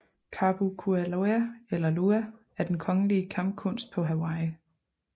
Kapu Kuialua eller lua er den kongelige kampkunst på Hawaii